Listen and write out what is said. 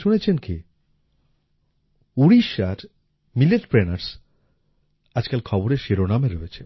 শুনেছেন কি উড়িষ্যার মিলেটপ্রেনিউর্স আজকাল খবরের শিরোনামে রয়েছে